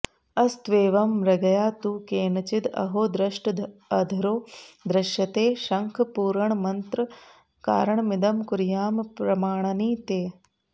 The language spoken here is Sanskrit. अस्त्वेवं मृगया तु केनचिद् अहो दष्टोऽधरो दॄश्यते शङ्खपूरणमत्र कारणमिदं कुर्यां प्रमाणनि ते